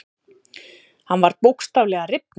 Hann var bókstaflega að rifna.